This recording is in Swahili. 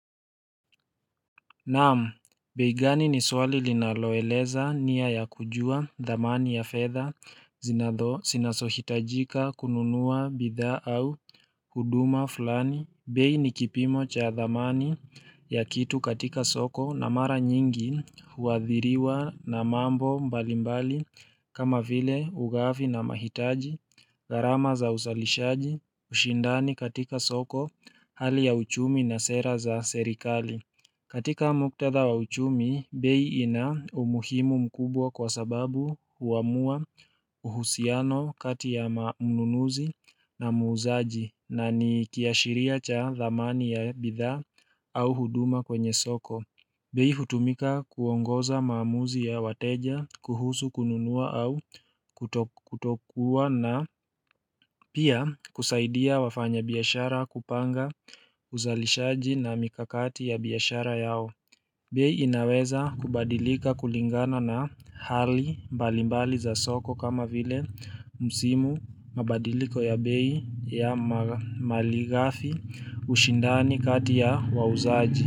Naam, beigani ni swali linaloeleza nia ya kujua thamani ya fedha, zinazohitajika kununua bidhaa au huduma fulani, bei ni kipimo cha thamani ya kitu katika soko na mara nyingi huathiriwa na mambo mbalimbali kama vile ugavi na mahitaji, gharama za uzalishaji, ushindani katika soko, hali ya uchumi na sera za serikali. Katika muktadha wa uchumi, bei ina umuhimu mkubwa kwa sababu huamua uhusiano kati ya mnunuzi na muuzaji na ni kiashiria cha thamani ya bidhaa au huduma kwenye soko. Bei hutumika kuongoza maamuzi ya wateja kuhusu kununua au kutokua na pia kusaidia wafanya biashara kupanga uzalishaji na mikakati ya biashara yao. Bei inaweza kubadilika kulingana na hali mbalimbali za soko kama vile msimu mabadiliko ya bei ya malighafi ushindani kati ya wauzaji.